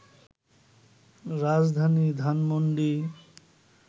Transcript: রাজধানী ধানমণ্ডি